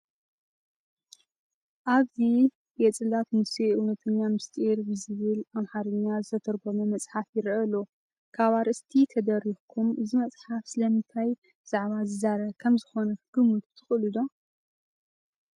ኣብዚ የጽላተ ሙሴ እውተኛ ምስጢር ዝብል ብኣምሓርኛ ዝተተርጎመ መፅሓፍ ይርአ ኣሎ፡፡ ካብ ኣርእስቲ ተደሪኽኩም እዚ መፅሓፍ ስለምንታይ ዛዕባ ዝዛረብ ከምዝኾነ ክትግምቱ ትኽእሉ ዶ?